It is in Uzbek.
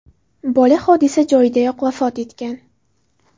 Bola hodisa joyidayoq vafot etgan.